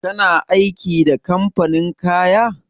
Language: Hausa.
Kana aiki da kamfanin kaya?